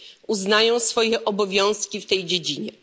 uznają swoje obowiązki w tej dziedzinie.